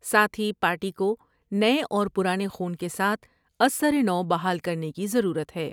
ساتھ ہی پارٹی کو نئے اور پرانے خون کے ساتھ از سرنو بحال کر نے کی ضرورت ہے ۔